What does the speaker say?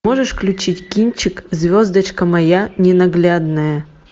можешь включить кинчик звездочка моя ненаглядная